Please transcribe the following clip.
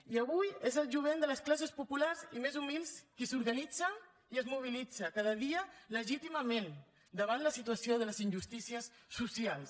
i avui és el jovent de les classes populars i més humils qui s’organitza i es mobilitza cada dia legítimament davant la situació de les injustícies socials